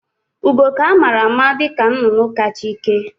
Ugo ka amara ama dịka nnụnụ ka cha ike